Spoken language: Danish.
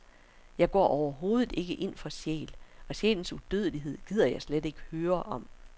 Jeg går overhovedet ikke ind for sjæl, og sjælens udødelighed gider jeg slet ikke høre om.